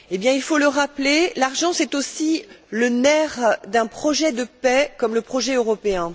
Il faut le rappeler, l'argent est aussi le nerf d'un projet de paix comme le projet européen.